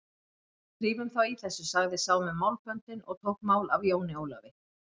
Drífum þá í þessu, sagði sá með málböndin og tók mál af Jóni Ólafi.